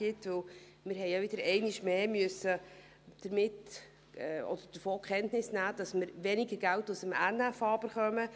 wir mussten wieder einmal mehr davon Kenntnis nehmen, dass wir weniger Geld aus dem NFA erhalten.